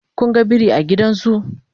Kun ga biri a gidan zoo?